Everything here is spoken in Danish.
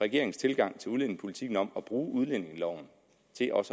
regeringens tilgang til udlændingepolitikken om at bruge udlændingeloven til også at